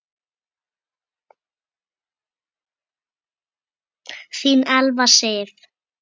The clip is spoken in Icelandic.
Þín Elfa Sif.